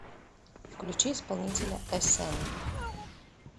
включи исполнителя э сэн